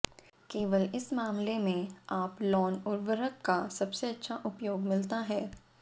केवल इस मामले में आप लॉन उर्वरक का सबसे अच्छा उपयोग मिलता है